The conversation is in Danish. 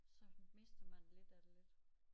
Så mister man lidt af det lidt